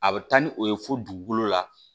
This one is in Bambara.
A bɛ taa ni o ye fo dugukolo la